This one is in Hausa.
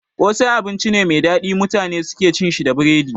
Kosai abinci ne mai daɗi da mutane suke cin sa da biredi